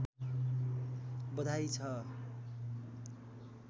बधाई छ